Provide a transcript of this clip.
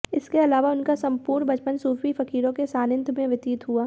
इसके अलावा उनका संपूर्ण बचपन सूफी फकीरों के सानिध्य में व्यतीत हुआ